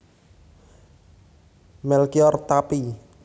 Melkior Tappy